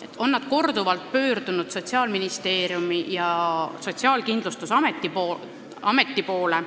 Nad on korduvalt pöördunud Sotsiaalministeeriumi ja Sotsiaalkindlustusameti poole,